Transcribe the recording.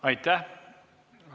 Aitäh!